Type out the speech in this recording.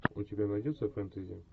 у тебя найдется фэнтези